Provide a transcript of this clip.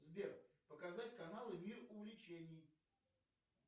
сбер показать каналы мир увлечений